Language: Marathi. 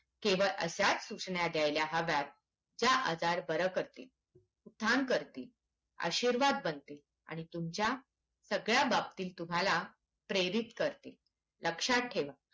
केवळ अश्याच सूचना द्यायला हव्यात ज्या आजार बर्‍या करतील ठाम करतील आशीर्वाद बनतील आणि तुमच्या सगळ्या बाबतीत तुम्हाला प्रेरित करतील लक्ष्यात ठेवा